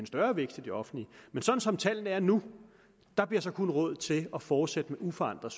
større vækst i det offentlige men sådan som tallene er nu bliver der kun råd til at fortsætte med uforandret